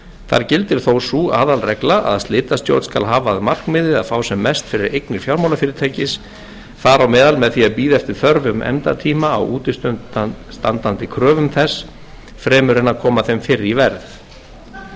þar gildir þó sú aðalregla að slitastjórn skal hafa að markmiði að fá sem mest fyrir eignir fjármálafyrirtækis þar á meðal með því að bíða eftir þörfum efndatíma á útistandandi kröfum þess fremur en að koma þeim fyrr í verð